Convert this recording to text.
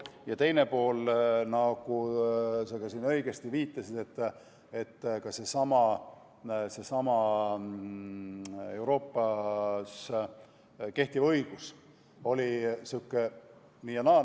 Ja teine pool, nagu sa õigesti viitasid, on see, et seesama Euroopas kehtiv õigus oli sihuke nii ja naa.